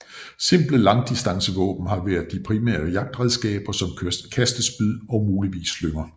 Simple langdistancevåben har været de primære jagtredskaber som kastespyd og muligvis slynger